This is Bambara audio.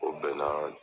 O bɛɛ na